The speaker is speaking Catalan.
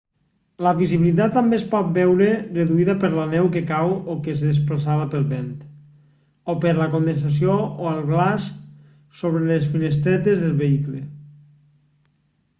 la visibilitat també es pot veure reduïda per la neu que cau o que és desplaçada pel vent o per la condensació o el glaç sobre les finestretes del vehicle